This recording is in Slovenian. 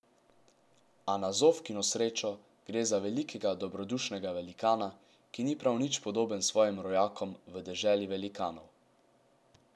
A na Zofkino srečo gre za velikega dobrodušnega velikana, ki ni prav nič podoben svojim rojakom v Deželi velikanov.